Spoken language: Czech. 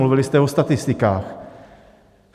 Mluvili jste o statistikách.